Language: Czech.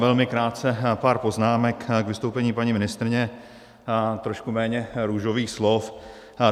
Velmi krátce pár poznámek k vystoupení paní ministryně, trošku méně růžových slov.